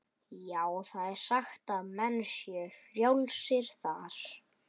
Já, það er sagt að menn séu frjálsir þar.